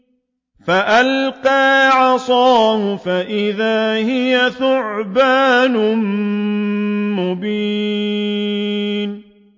فَأَلْقَىٰ عَصَاهُ فَإِذَا هِيَ ثُعْبَانٌ مُّبِينٌ